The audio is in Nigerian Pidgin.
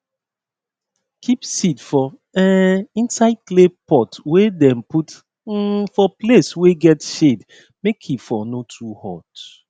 keep seed for um inside clay pot wey dem put um for place wey get shade make e for no too hot